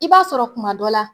I b'a sɔrɔ kuma dɔ la.